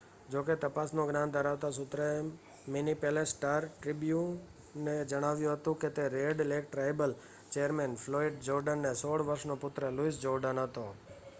જો કે તપાસનું જ્ઞાન ધરાવતા સૂત્ર એ મિનેપોલિસ સ્ટાર-ટ્રિબ્યુનને જણાવ્યું હતું કે તે Red Lake tribal chairman Floyd જોર્ડેનનો 16 વર્ષનો પુત્ર લુઇસ જોર્ડેન હતો